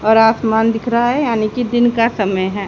और आसमान दिख रहा है यानी कि दिन का समय है।